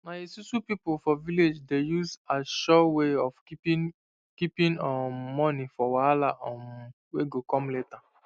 na esusu people for village dey use as sure way of keeping keeping um money for wahala um wey go come later